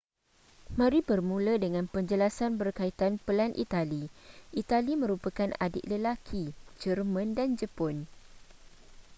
mari bermula dengan penjelasan berkaitan pelan itali itali merupakan adik lelaki jerman dan jepun